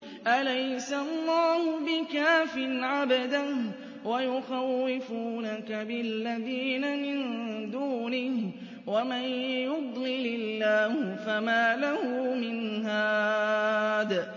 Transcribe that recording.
أَلَيْسَ اللَّهُ بِكَافٍ عَبْدَهُ ۖ وَيُخَوِّفُونَكَ بِالَّذِينَ مِن دُونِهِ ۚ وَمَن يُضْلِلِ اللَّهُ فَمَا لَهُ مِنْ هَادٍ